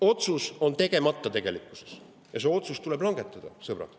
Otsus on tegemata ja see otsus tuleb langetada, sõbrad.